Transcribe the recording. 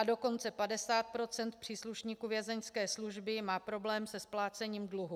A dokonce 50 % příslušníků vězeňské služby má problém se splácením dluhů.